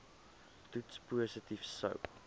toets positief sou